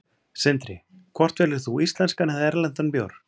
Sindri: Hvort velur þú íslenskan eða erlendan bjór?